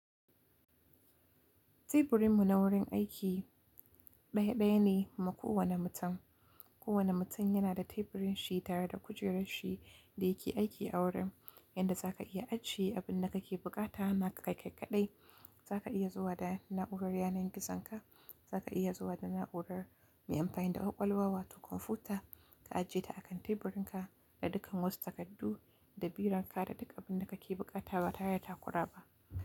Teburinmu na wurin aiki, ɗaya ɗaya ne ma kowane mutum. Kowane mutum yana da teburin shi tare da kujerar shi da yake aiki a wurin. Yanda za ka iya ajiye abin da kake bukata na ka kai kaɗai. Za ka iya zuwa da na'urar yanar gizonka, za ka iya zuwa da na'urar mai amfani da ƙwaƙwalwa wato kwamfuta, ka ajiye ta akan teburinka da dukkan wasu takardu da biranka da duk abin da kake bukata ba ta yata kura ba.